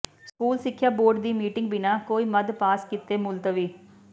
school ਸਿੱਖਿਆ board ਦੀ meeting ਬਿਨਾਂ ਕੋਈ ਮੱਦ ਪਾਸ ਕੀਤੇ ਮੁਲਤਵੀ